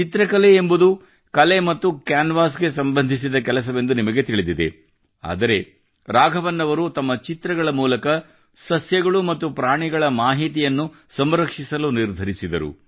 ಚಿತ್ರಕಲೆ ಎಂಬುದು ಕಲೆ ಮತ್ತು ಕ್ಯಾನ್ವಾಸ್ಗೆ ಸಂಬಂಧಿಸಿದ ಕೆಲಸವೆಂದು ನಿಮಗೆ ತಿಳಿದಿದೆ ಆದರೆ ರಾಘವನ್ ಅವರು ತಮ್ಮ ಚಿತ್ರಗಳ ಮೂಲಕ ಸಸ್ಯಗಳು ಮತ್ತು ಪ್ರಾಣಿಗಳ ಮಾಹಿತಿಯನ್ನು ಸಂರಕ್ಷಿಸಲು ನಿರ್ಧರಿಸಿದರು